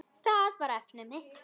Það var efnið mitt.